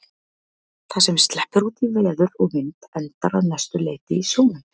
Það sem sleppur út í veður og vind endar að mestu leyti í sjónum.